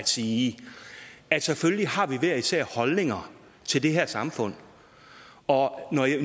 at sige at selvfølgelig har vi hver især holdninger til det her samfund og